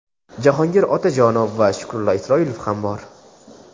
Jahongir Otajonov va Shukrullo Isroilov ham bor.